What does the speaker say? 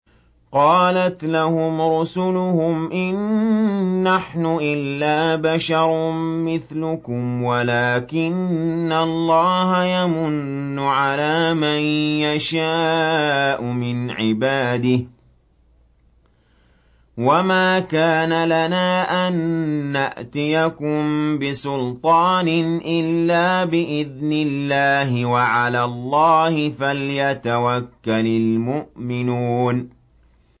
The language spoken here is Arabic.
قَالَتْ لَهُمْ رُسُلُهُمْ إِن نَّحْنُ إِلَّا بَشَرٌ مِّثْلُكُمْ وَلَٰكِنَّ اللَّهَ يَمُنُّ عَلَىٰ مَن يَشَاءُ مِنْ عِبَادِهِ ۖ وَمَا كَانَ لَنَا أَن نَّأْتِيَكُم بِسُلْطَانٍ إِلَّا بِإِذْنِ اللَّهِ ۚ وَعَلَى اللَّهِ فَلْيَتَوَكَّلِ الْمُؤْمِنُونَ